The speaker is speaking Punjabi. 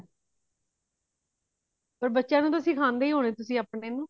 ਪਰ ਬੱਚਿਆਂ ਨੂੰ ਸਿਖਾਂਦੇ ਹੀ ਹੋਂਦੇ ਹੋਣੇ ਤੁਸੀਂ ਅਪਣੇ ਨੂੰ